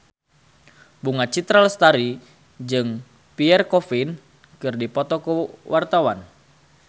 Bunga Citra Lestari jeung Pierre Coffin keur dipoto ku wartawan